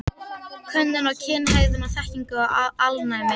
Könnun á kynhegðun og þekkingu á alnæmi.